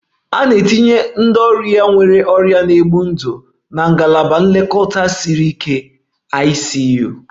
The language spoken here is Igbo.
A na-etinye ndị ọrịa nwere ọrịa na-egbu ndụ na Ngalaba Nlekọta Siri Ike (ICU)